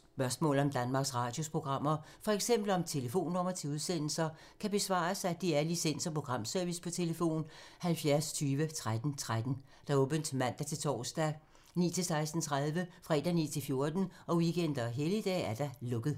Spørgsmål om Danmarks Radios programmer, f.eks. om telefonnumre til udsendelser, kan besvares af DR Licens- og Programservice: tlf. 70 20 13 13, åbent mandag-torsdag 9.00-16.30, fredag 9.00-14.00, weekender og helligdage: lukket.